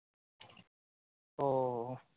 हो.